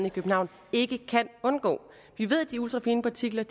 i københavn ikke kan undgå og vi ved at de ultrafine partikler